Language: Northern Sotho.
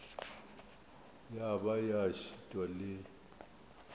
ya ba ya šitwa le